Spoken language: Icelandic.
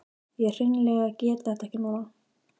Ég hreinlega get þetta ekki núna.